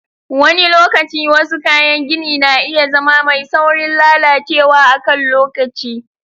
Wani lokaci, wasu kayan gini na iya zama mai saurin lalacewa a kan lokaci.